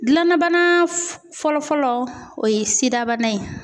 Gilala bana fɔlɔ fɔlɔ o ye sidabana ye